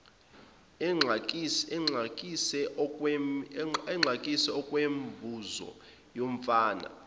exakise okwemibuzo yomfana